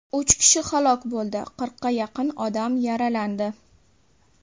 Uch kishi halok bo‘ldi, qirqqa yaqin odam yaralandi.